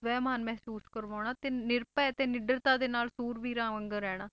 ਸਵੈ ਮਾਨ ਮਹਿਸੂਸ ਕਰਵਾਉਣਾ ਤੇ ਨਿਰਭੈ ਤੇ ਨਿਡਰਤਾ ਦੇ ਨਾਲ ਸੂਰਵੀਰਾਂ ਵਾਂਗਰ ਰਹਿਣਾ।